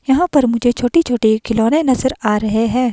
यहां पर मुझे छोटी-छोटी खिलौने नज़र आ रहे हैं।